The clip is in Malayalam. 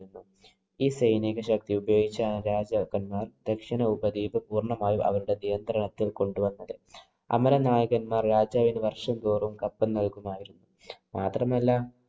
ഈ സൈനിക ശക്തി ഉപയോഗിച്ചു ആ രാജാക്കന്മാര്‍ ദക്ഷിണ ഉപദ്വീപ് പൂര്‍ണ്ണമായും അവരുടെ നിയന്ത്രണത്തില്‍ കൊണ്ട് വന്നത്. അമരനായകന്മാര്‍ രാജാവിന്‌ വര്‍ഷം തോറും കപ്പം നല്‍കുമായിരുന്നു. മാത്രമല്ല,